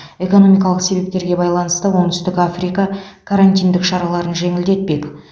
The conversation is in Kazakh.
экономикалық себептерге байланысты оңтүстік африка карантиндік шараларын жеңілдетпек